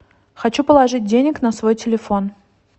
хочу положить денег на свой телефон